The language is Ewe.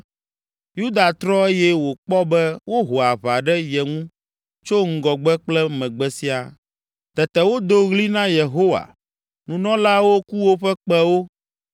Yuda trɔ eye wòkpɔ be woho aʋa ɖe ye ŋu tso ŋgɔgbe kple megbe siaa. Tete wodo ɣli na Yehowa. Nunɔlaawo ku woƒe kpẽwo